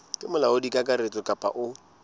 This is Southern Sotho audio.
ke molaodi kakaretso kapa o